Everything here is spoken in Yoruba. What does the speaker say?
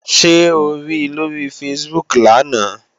Ṣé o ri lóri Facebook lánàá?